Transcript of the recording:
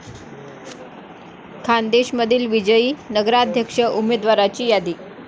खान्देशमधील विजयी नगराध्यक्ष उमदेवाराची यादी